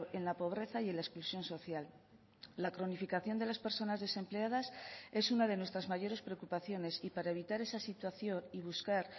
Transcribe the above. en la pobreza y en la exclusión social la cronificación de las personas desempleadas es una de nuestras mayores preocupaciones y para evitar esa situación y buscar